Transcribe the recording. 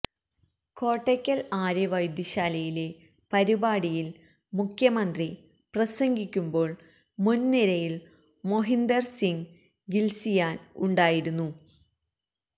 കോട്ടക്കൽ ആര്യവൈദ്യശാലയിലെ പരിപാടിയിൽ മുഖ്യമന്ത്രി പ്രസംഗിക്കുമ്പോൾ മുൻ നിരയിൽ മൊഹിന്ദർ സിങ്ങ് ഗിൽസിയാൻ ഉണ്ടായിരുന്നു